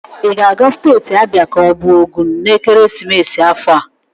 I ga-aga steeti Abia ka ọ bụ Ogun n'ekeresimesi afọ a?